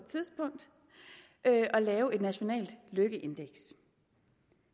tidspunkt at lave et nationalt lykkeindeks